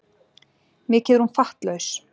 Mikið er hún fattlaus.